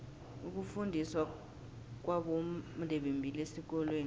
ukufundiswa kwabondebembili esikolweni